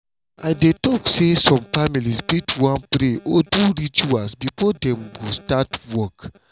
i dey talk say some families fit wan pray or do rituals before dem go start work.